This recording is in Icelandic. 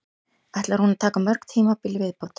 Ætlar hún að taka mörg tímabil í viðbót?